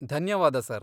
ಧನ್ಯವಾದ ಸರ್.